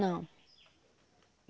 Não.